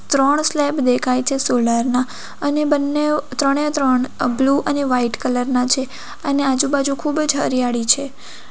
ત્રણ સ્લેબ દેખાય છે સોલાર ના અને બંનેવ ત્રણે ત્રણ બ્લુ અને વાઈટ કલર ના છે અને આજુબાજુ ખૂબ જ હરિયાળી છે.